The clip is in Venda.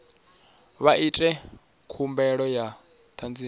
vha ite khumbelo ya ṱhanziela